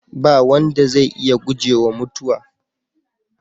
Ba wanda zai iya gujewa mutuwa.